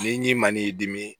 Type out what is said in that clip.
Ni n'i ma n'i dimi